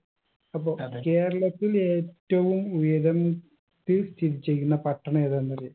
അപ്പൊ കേരളത്തിൽ ഏറ്റവും ഉയരം ത്തിൽ സ്ഥിതി ചെയ്യുന്ന പട്ടണം ഏതാന്നറിയോ